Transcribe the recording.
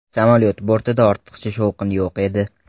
Samolyot bortida ortiqcha shovqin yo‘q edi.